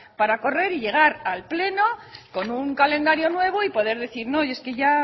para correr y llegar al pleno con un calendario nuevo y poder decir no es que ya